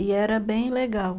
E era bem legal.